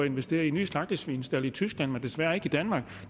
investere i nye slagtesvinestalde i tyskland men desværre ikke i danmark